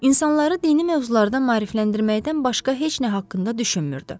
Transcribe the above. İnsanları dini mövzularda maarifləndirməkdən başqa heç nə haqqında düşünmürdü.